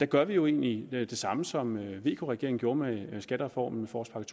gør vi jo egentlig det samme som vk regeringen gjorde med skattereformen forårspakke